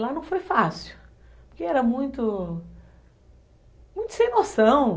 Lá não foi fácil, porque era muito, muito sem noção.